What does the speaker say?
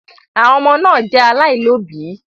Àwọn ọmọ náà jẹ alailọ̀bí.